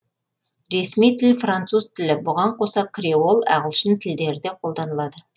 ресми тілі француз тілі бұған қоса креол ағылшын тілдері де қолданылады